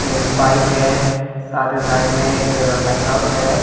एक बाइक है सारे साइड में एक लाइटहाउस है।